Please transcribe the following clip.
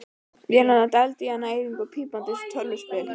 Vélarnar dældu í hann næringu, pípandi eins og tölvuspil.